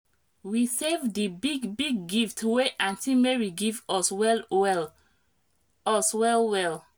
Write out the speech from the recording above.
we save di big big gift wey aunt mary give us well well us well well